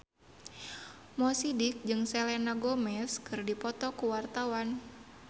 Mo Sidik jeung Selena Gomez keur dipoto ku wartawan